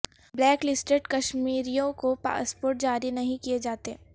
black listed کشمیریوں کو passport جاری نہیں کیے جاتے